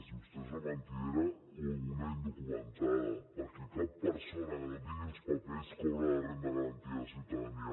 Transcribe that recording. i vostè és una mentidera o una indocumentada perquè cap persona que no tingui els papers cobra la renda garantida de ciutadania